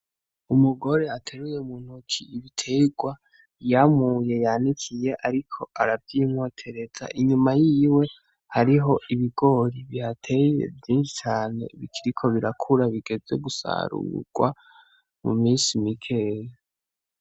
Umugore ateruye mu ntoke ibiterwa yamuye yanikiye, ariko aravyimotereza inyuma y'iwe hariho ibigori bihateye vyinshi cane bikiriko birakura bigeze gusarurwa mu minsi mikeya.